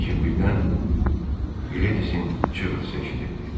Lakin birdən Gledisin çığırtısı eşidildi.